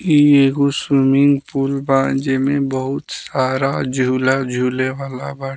इ एगो swimming pool बा जे में बहुत सारा झुला-झुले वाला बा।